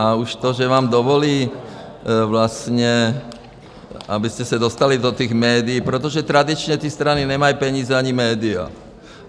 A už to, že vám dovolí vlastně, abyste se dostali do těch médií, protože tradičně ty strany nemají peníze ani média.